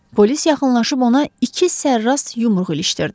Polis yaxınlaşıb ona iki sərras yumruq ilişdirdi.